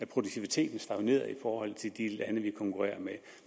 produktiviteten stagnerede i forhold til de lande vi konkurrerede med